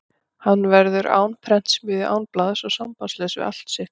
Hann verður án prentsmiðju, án blaðs og sambandslaus við allt sitt lið.